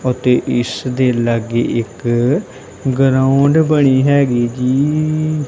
ਅਤੇ ਇਸ ਦੇ ਲਾਗੇ ਇੱਕ ਗਰਾਉਂਡ ਬਣੀ ਹੈਗੀ ਜੀ।